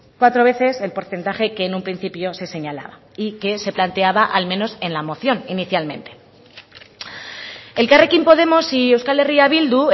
cuatro veces el porcentaje que en un principio se señalaba y que se planteaba al menos en la moción inicialmente elkarrekin podemos y euskal herria bildu